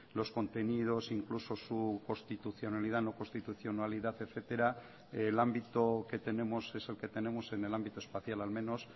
los contenidos incluso su constitucionalidad no constitucionalidad etcétera el ámbito que tenemos es el que tenemos en el ámbito espacial al menos